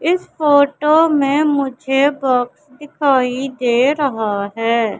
इस फोटो में मुझे बॉक्स दिखाई दे रहा है।